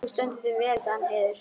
Þú stendur þig vel, Danheiður!